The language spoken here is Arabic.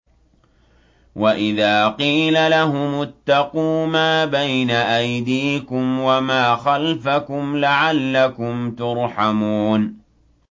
وَإِذَا قِيلَ لَهُمُ اتَّقُوا مَا بَيْنَ أَيْدِيكُمْ وَمَا خَلْفَكُمْ لَعَلَّكُمْ تُرْحَمُونَ